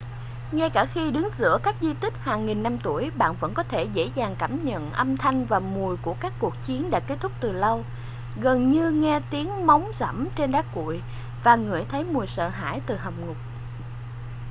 ngay cả khi đứng giữa các di tích hàng nghìn năm tuổi bạn vẫn có thể dễ dàng cảm nhận âm thanh và mùi của các cuộc chiến đã kết thúc từ lâu gần như nghe tiếng móng giẫm trên đá cuội và ngửi thấy mùi sợ hãi từ hầm ngục